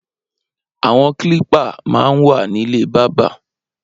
Awọn klípà mà n wà nilé bàbà